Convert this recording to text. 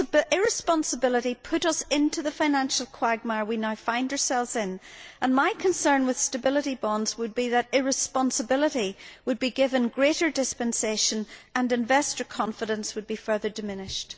Irresponsibility put us into the financial quagmire we now find ourselves in, and my concern with stability bonds would be that irresponsibility would be given greater dispensation and investor confidence would be further diminished.